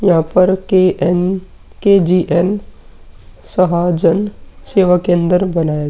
यहाँ पर के_अन के_जी_अन सहाजन सेवा केन्दर बनाये --